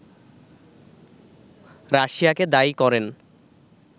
রাশিয়াকে দায়ী করেন